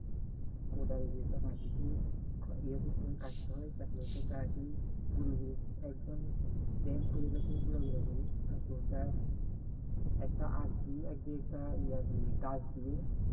কোদাল দিয়ে মাটি কে এ করতে হয় কাটতে হয় তারপরে ওটা কে কাটি গুড়ি গুড়ি একদম plain করিনা গুড়া গুড়া করি তারপরে একটা আগ দিয়ে একটা ইয়াদি গাছ দিয়ে